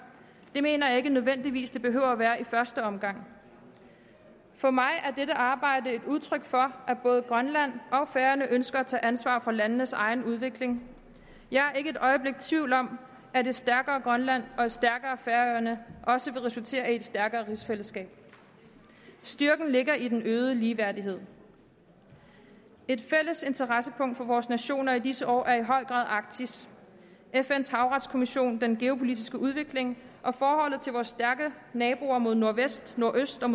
det mener jeg ikke nødvendigvis det behøver at være i første omgang for mig er dette arbejde et udtryk for at både grønland og færøerne ønsker at tage ansvar for landenes egen udvikling jeg er ikke et øjeblik i tvivl om at et stærkere grønland og et stærkere færøerne også vil resultere i et stærkere rigsfællesskab styrken ligger i den øgede ligeværdighed et fælles interessepunkt for vores nationer i disse år er i høj grad arktis fns havretskommission den geopolitiske udvikling og forholdet til vores stærke naboer mod nordvest nordøst og